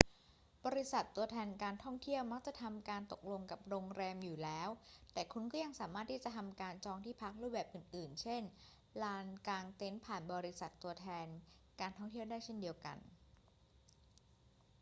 บริษัทตัวแทนการท่องเที่ยวมักจะทำการตกลงกับโรงแรมอยู่แล้ว แต่คุณก็ยังสามารถที่จะทำการจองที่พักรูปแบบอื่น ๆ เช่น ลานกางเต็นท์ผ่านบริษัทตัวแทนการท่องเที่ยวได้เช่นกัน